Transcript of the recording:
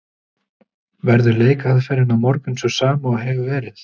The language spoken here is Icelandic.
Verður leikaðferðin á morgun sú sama og hefur verið?